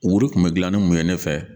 O wuri kun bɛ gilan ni mun ye ne fɛ?